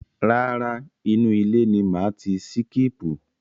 Rárá, inú ile ni màá ti síkípù.